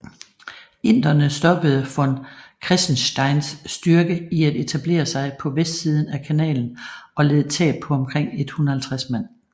Inderne stoppede von Kressensteins styrke i at etablere sig på vestsiden af kanalen og led tab på omkring 150 mand